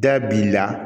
Da b'i la